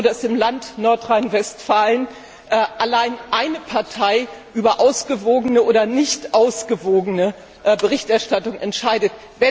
Ist es so, dass im Land Nordrhein Westfalen allein eine Partei über ausgewogene oder nicht ausgewogene Berichterstattung entscheidet?